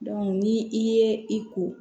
ni i ye i ko